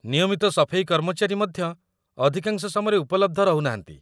ନିୟମିତ ସଫେଇ କର୍ମଚାରୀ ମଧ୍ୟ ଅଧିକାଂଶ ସମୟରେ ଉପଲବ୍ଧ ରହୁନାହାନ୍ତି